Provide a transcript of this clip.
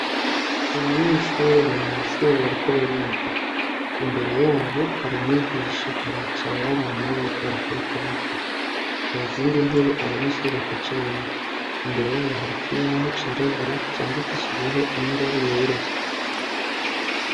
Abanyeshure bari mwishure bariko bariga imbere yabo hari umwigisha aricaranye abaraba nabo bariko bakora ikibazo muzindi ntebe abanyeshure baticayemwo imbere yabo hariho ikibaho cirabura candikishijeho inrwa yera